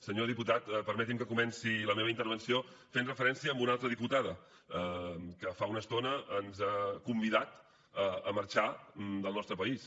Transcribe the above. senyor diputat permeti’m que comenci la meva intervenció fent referència a una altra diputada que fa una estona ens ha convidat a marxar del nostre país